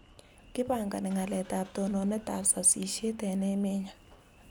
Kipangani ngalalet ab tononet ab sasishet eng emennyo